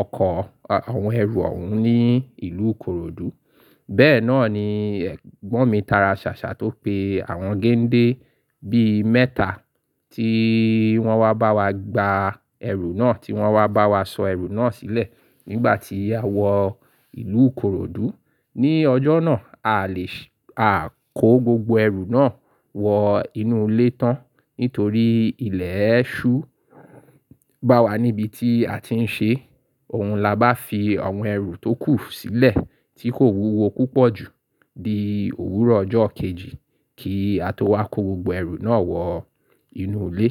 ọkọ̀, àwọn ẹrù òun ní ìlú Ìkoròdú. Bẹ́ẹ̀ náà ni ẹ̀gbọ́n mi tara ṣàṣà tó pe àwọn gẹ́ńdé bí mẹ́ta tí wọ́n wá bá wa gba ẹrù náà tí wọ́n wá bá wa sọ ẹrù náà sílẹ̀ nígbà tí a wọ ìlú Ìkoròdú. Ní ọjọ́ náà, a lè ṣ-- a kó gbogbo ẹrù náà wọ inú ilé tán nítorí ilẹ̀ ẹ́ ṣú bá wa níbi tí a ti ń ṣe. Ohun la bá fi àwọn ẹrù tó kù sílẹ̀ tí kò wúwo púpọ̀ jù di òwúrọ̀ ọjọ́ kejì kí a tó wá kó gbogbo ẹrù náà wọ inú ilé.